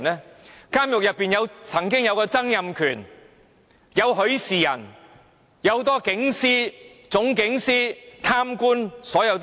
曾經入獄的有曾蔭權、許仕仁，還有很多警司、總警司、貪官等。